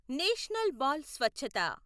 national బాల్ స్వచ్ఛత